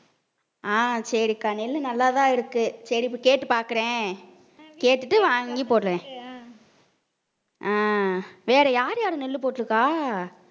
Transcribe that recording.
அஹ் சரிக்கா நெல்லு நல்லாதான் இருக்கு. சரி இப்ப கேட்டு பார்க்கிறேன். கேட்டுட்டு வாங்கி போடுறேன். அஹ் வேற யார் யாரு நெல்லு போட்டுருக்கா